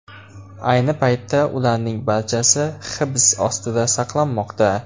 Ayni paytda ularning barchasi hibs ostida saqlanmoqda.